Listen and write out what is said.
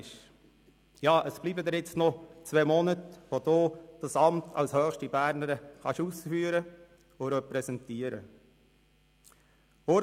Ja, es bleiben Ihnen jetzt noch zwei Monate, in denen Sie dieses Amt als höchste Bernerin ausüben und repräsentieren können.